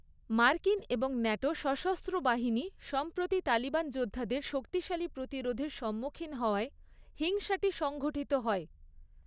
মার্কিন এবং ন্যাটো সশস্ত্র বাহিনী সম্প্রতি তালিবান যোদ্ধাদের শক্তিশালী প্রতিরোধের সম্মুখীন হওয়ায় হিংসাটি সংঘটিত হয়।